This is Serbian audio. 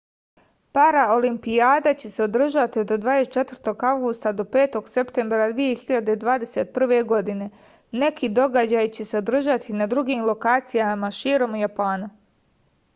paraolimpijada će se održati od 24. avgusta do 5. septembra 2021. godine neki događaji će se održati na drugim lokacijama širom japana